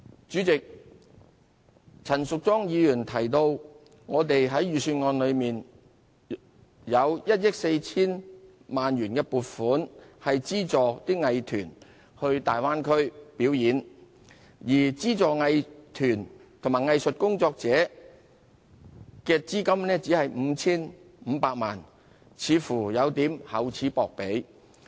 主席，陳淑莊議員提到，政府在預算案中有1億 4,000 萬元撥款資助藝團前往大灣區表演，而資助藝團及藝術工作者的資金只有 5,500 萬元，似乎有點厚此薄彼。